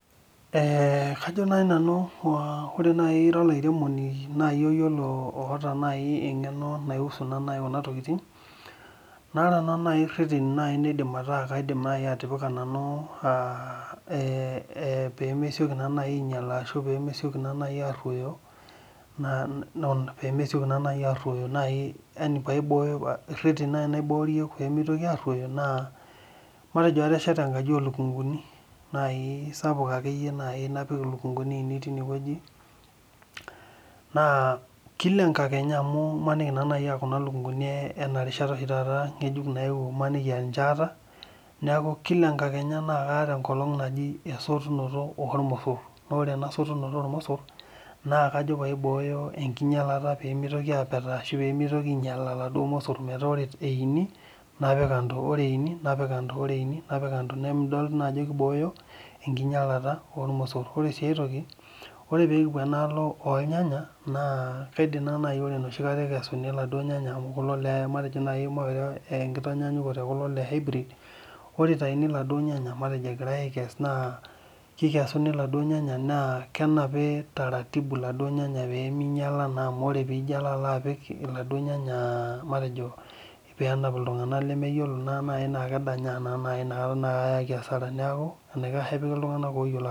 Ee kajo nai nanu ore ila olairemoni iata engeno naiusu kuna tokitin na ore nai reteni naidim atipika nanu naa pemesioki naibainyala ashu pemesieki aroyo naa matejo atesheta enkaji olukunguni saouk na kila enkalenya amu imaniki aa kuna lukunguni oshi taata aata neaku kila enkakenya kaata esiai najibesotunoto ormosor na ore ena sotunoto ormosor na kajo paibooyo enkinyalata pemitoki ainyala laduo mosor napik kando amidol naajo kibooyo enkinyalata otmosor ore si aitoki na ore pekipuo endaalo ornyanya ore nai ekesuni kulo nyanya ore itauni laduo nyanya na kikesuni laduo nyanya pemepuo ainyala amu ore pilo apik laduo nyanya matejo penap ltunganak lemeyiolo na kedanyaa neyau asara neaku enikash enipiki ltunganak oyiolo.